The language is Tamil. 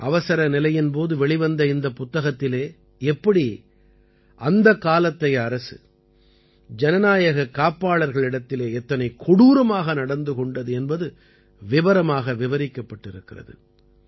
அவசரநிலையின் போது வெளிவந்த இந்தப் புத்தகத்திலே எப்படி அந்தக் காலத்தைய அரசு ஜனநாயகக் காப்பாளர்களிடத்திலே எத்தனை கொடூரமாக நடந்து கொண்டது என்பது விபரமாக விவரிக்கப்பட்டிருக்கிறது